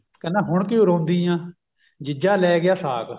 ਕਹਿੰਦਾ ਹੁਣ ਕਿਉ ਰੋਂਦੀ ਆ ਜੀਜਾ ਲੈਗਿਆ ਸਾਕ